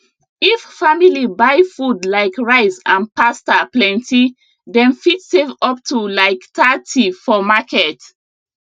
if family buy food like rice and pasta plenty dem fit save up to like thirty for market